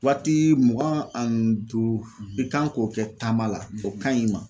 Waati mugan ani duuru i kan k'o kɛ taama la o ka ɲi ma